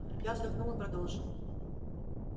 я вздохнул и продолжил